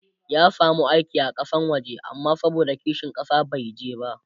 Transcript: ya samu aiki a Kasan waje amma saboda kishin ƙasa bai je ba